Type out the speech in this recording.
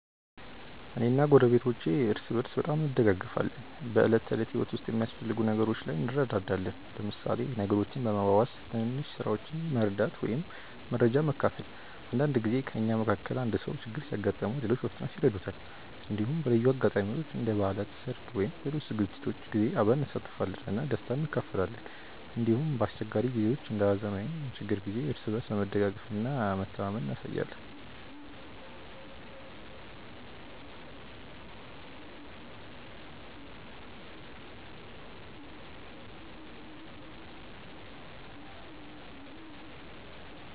እኔ እና ጎረቤቶቼ እርስ በርስ በጣም እንደጋገፋለን። በዕለት ተዕለት ህይወት ውስጥ በሚያስፈልጉ ነገሮች ላይ እንረዳዳለን፣ ለምሳሌ ነገሮችን በመዋዋስ፣ ትንሽ ስራዎችን መርዳት ወይም መረጃ መካፈል። አንዳንድ ጊዜ ከእኛ መካከል አንዱ ሰው ችግር ሲያጋጥመው ሌሎች በፍጥነት ይረዱታል። እንዲሁም በልዩ አጋጣሚዎች እንደ በዓላት፣ ሰርግ ወይም ሌሎች ዝግጅቶች ጊዜ አብረን እንሳተፋለን እና ደስታን እንካፈላለን። እንዲሁም በአስቸጋሪ ጊዜዎች እንደ ሀዘን ወይም ችግር ጊዜ እርስ በርስ መደጋገፍ እና መተማመን እናሳያለን።